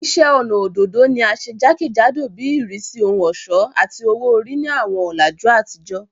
Iṣẹ ọnà ododo ni a ṣe jakejado bi irisi ohun ọṣọ ati owo-ori ni awọn ọlaju atijọ